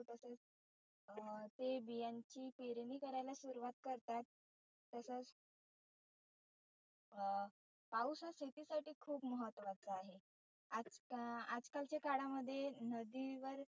अं ते बियांंची पेरनी करायला सुरुवात करतात. तसच अं पाऊस हा शेतीसाठी खुप महत्वाचा आहे. आज आजकालचे काळामध्ये नदी वर